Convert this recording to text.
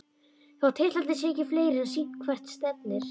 Þótt titlarnir séu ekki fleiri er sýnt hvert stefnir.